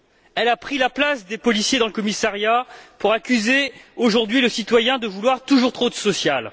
Elle a pris la place des policiers dans le commissariat pour accuser aujourd'hui le citoyen de vouloir toujours trop de social.